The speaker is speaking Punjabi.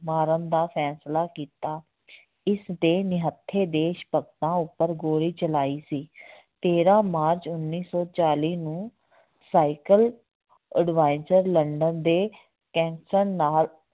ਮਾਰਨ ਦਾ ਫੈਸਲਾ ਕੀਤਾ ਇਸਦੇ ਨਿਹੱਥੇ ਦੇਸ ਭਗਤਾਂ ਉੱਪਰ ਗੋਲੀ ਚਲਾਈ ਸੀ ਤੇਰਾਂ ਮਾਰਚ ਉੱਨੀ ਸੌ ਚਾਲੀ ਨੂੰ ਸਾਇਕਲ ਉਡਵਾਇਜਰ ਲੰਡਨ ਦੇ ਕੈਂਸਰ ਨਾਲ